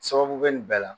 Sababu bɛ nin bɛɛ la